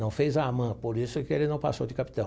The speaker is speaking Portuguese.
Não fez a AMAN, por isso que ele não passou de capitão.